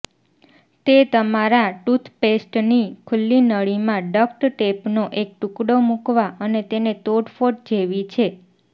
તે તમારા ટૂથપેસ્ટની ખુલ્લી નળીમાં ડક્ટ ટેપનો એક ટુકડો મુકવા અને તેને તોડફોડ જેવી છે